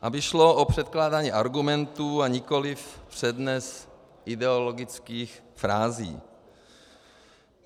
Aby šlo o předkládání argumentů, a nikoliv přednes ideologických frází.